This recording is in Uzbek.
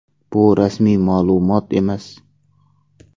Bu rasmiy ma’lumot emas.